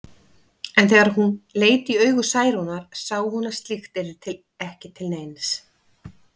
En þegar hún leit í augu Særúnar sá hún að slíkt yrði ekki til neins.